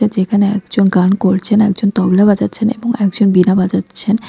যেখানে একজন গান করছেন একজন তবলা বাজাচ্ছেন এবং একজন বীণা বাজাচ্ছেন ।